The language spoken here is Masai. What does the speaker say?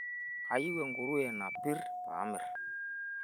kayireu enkuruwe napir pamirr